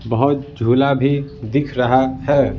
बहुत झूला भी दिख रहा है।